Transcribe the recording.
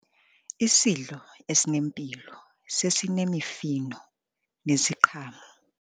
Isidlo esinempilo sesinemifuno neziqhamo.